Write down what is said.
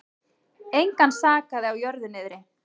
Engan sakaði á jörðu niðri.